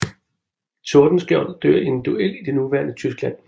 Tordenskiold dør i en duel i det nuværende Tyskland